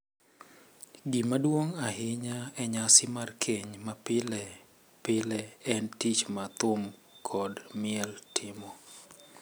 Gima duong’ ahinya e nyasi mar keny ma pile pile en tich ma thum kod miel timo.